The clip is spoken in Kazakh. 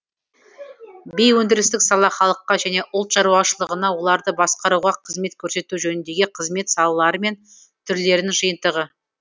бейөндірістік сала халыққа және ұлт шаруашылығына оларды басқаруға қызмет көрсету жөніндегі қызмет салалары мен түрлерінің жиынтығы